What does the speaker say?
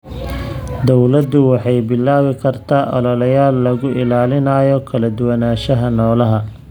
Dawladdu waxay bilaabi kartaa ololeyaal lagu ilaalinayo kala duwanaanshaha noolaha.